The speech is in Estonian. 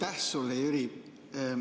Aitäh sulle, Jüri!